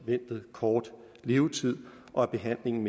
kort levetid og at behandlingen